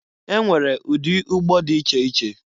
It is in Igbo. E nwere ụdị ụgbọ dị iche iche.